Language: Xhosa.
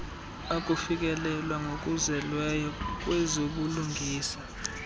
ukufikelelwa ngokuzeleyo kwezobulungisa